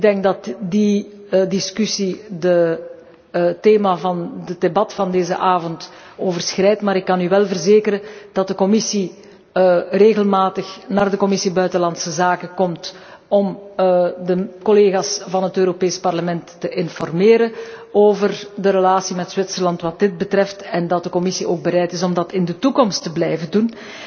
Ik denk dat die discussie het thema van het debat van vanavond overschrijdt, maar ik kan u wel verzekeren dat de Commissie regelmatig naar de Commissie buitenlandse zaken komt om de collega's van het Europees Parlement te informeren over de relatie met Zwitserland hieromtrent en dat de Commissie ook bereid is om dat in de toekomst te blijven doen.